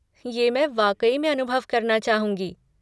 ये मैं वाक़ई में अनुभव करना चाहूँगी।